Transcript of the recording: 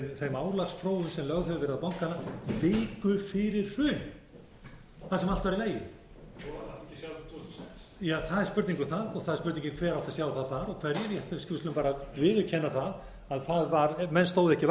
þeim álagsprófum sem lögð hefðu verið á bankana viku fyrir hrun þar sem allt var í lagi ja það er spurning um það og það er spurningin hver átti að sjá það og hverjir við skulum bara viðurkenna það að menn stóðu ekki